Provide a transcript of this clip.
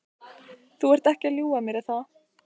Þú ert ekki að ljúga að mér, er það?